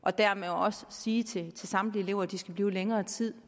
og dermed også sige til samtlige elever at de skal blive længere tid